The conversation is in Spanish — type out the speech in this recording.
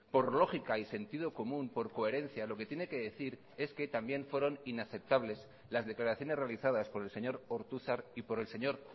por lógica y sentido común por coherencia lo que tiene que decir es que también fueron inaceptables las declaraciones realizadas por el señor ortuzar y por el señor